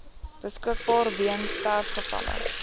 beskikbaar weens sterfgevalle